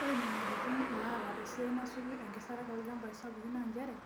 Ore nyamalitin naata esiai nasuju enkisampuare tolchambai sapukin naa nchere ,